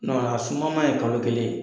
sumaman ye kalo kelen ye.